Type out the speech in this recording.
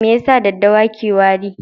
Me yasa daɗɗawa ke warin?